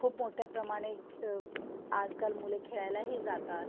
खूप मोठ्या प्रमाणेत अ आजकाल मुलं खेळायलाही जातात.